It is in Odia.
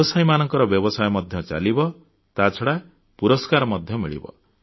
ବ୍ୟବସାୟୀମାନଙ୍କ ବ୍ୟବସାୟ ମଧ୍ୟ ଚାଲିବ ତାଛଡ଼ା ପୁରସ୍କାର ମଧ୍ୟ ମିଳିବ